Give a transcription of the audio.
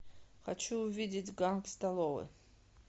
хочу увидеть ганг столове